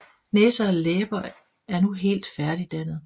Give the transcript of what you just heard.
Næse og læber er nu helt færdigdannet